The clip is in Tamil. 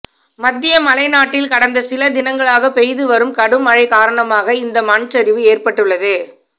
மத்திய மலை நாட்டில் கடந்த சில தினங்களாக பெய்து வரும் கடும் மழை காரணமாக இந்த மண்சரிவு ஏற்பட்டுள்ளது